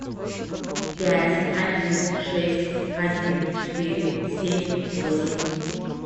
пять один шесть один четыре семь восемь